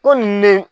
Ko nunnu ne